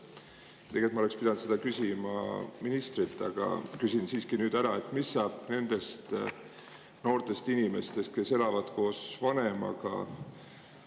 Tegelikult ma oleksin pidanud seda küsima ministrilt, aga küsin siiski nüüd ära: mis saab nendest noortest inimestest, kes elavad koos vanemaga?